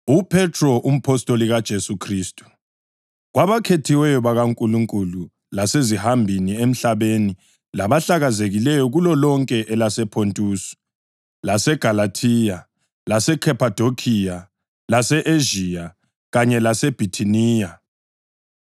UPhethro, umpostoli kaJesu Khristu, Kwabakhethiweyo bakaNkulunkulu, lasezihambini emhlabeni labahlakazekileyo kulolonke elasePhontusi, laseGalathiya, laseKhaphadokhiya, lase-Ezhiya kanye laseBhithiniya,